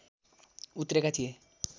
उत्रेका थिए